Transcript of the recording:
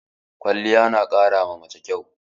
Kwaliya na ƙara ma mace kyau